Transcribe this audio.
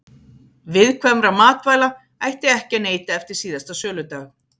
Viðkvæmra matvæla ætti ekki að neyta eftir síðasta söludag.